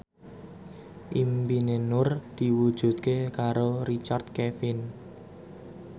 impine Nur diwujudke karo Richard Kevin